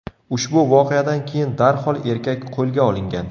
Ushbu voqeadan keyin darhol erkak qo‘lga olingan.